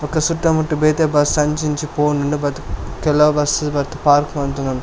ಬೊಕ್ಕ ಸುತ್ತ ಮುಟ್ಟ್ ಬೇತೆ ಬಸ್ಸ್ ಅಂಚಿ ಇಂಚಿ ಪೋವೊಂದುಂಡು ಬತ್ ಕೆಲವು ಬಸ್ಸ್ ಬತ್ತ್ ಪಾರ್ಕ್ ಮಂತೊಂದುಂಡು.